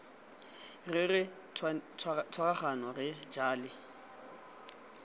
re re tshwaragane re jale